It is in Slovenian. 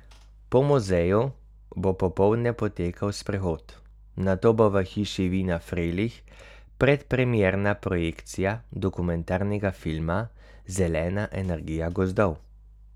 Po muzeju bo popoldne potekal sprehod, nato bo v Hiši vina Frelih predpremierna projekcija dokumentarnega filma Zelena energija gozdov.